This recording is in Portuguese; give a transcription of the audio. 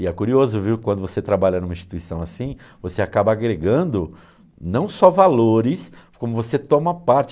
E é curioso, viu, quando você trabalha em uma instituição assim, você acaba agregando não só valores, como você toma parte.